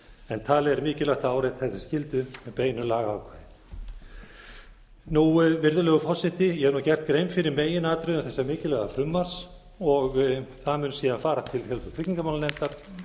en talið er mikilvægt að árétta þessa skyldu með beinu lagaákvæði virðulegur forseti ég hef nú gert grein fyrir meginatriðum þessa mikilvæga frumvarps og það mun síðan fara til félags og tryggingamálanefndar